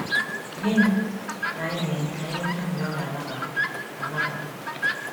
Gịnị ka anyị ga eme ka anyị nweta obi ọ ga anabata? anabata?